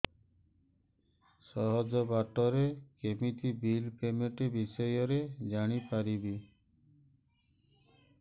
ସହଜ ବାଟ ରେ କେମିତି ବିଲ୍ ପେମେଣ୍ଟ ବିଷୟ ରେ ଜାଣି ପାରିବି